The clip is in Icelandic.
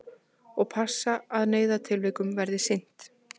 Og passa að neyðartilvikum verði sinnt